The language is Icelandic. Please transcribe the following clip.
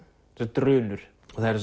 drunur